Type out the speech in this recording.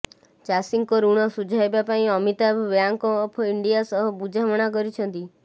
ଚାଷୀଙ୍କ ଋଣ ସୁଝାଇବା ପାଇଁ ଅମିତାଭ ବ୍ୟାଙ୍କ ଅଫ୍ ଇଣ୍ଡିଆ ସହ ବୁଝାମଣା କରିଛନ୍ତି